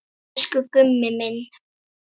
Elsku Gummi minn.